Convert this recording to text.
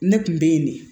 Ne kun bɛ yen de